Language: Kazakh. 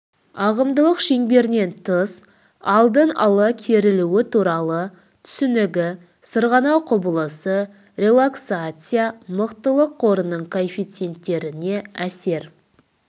ағымдылық шеңберінен тыс алдын ала керілуі туралы түсінігі сырғанау құбылысы релаксация мықтылық қорының коэффициентіне әсер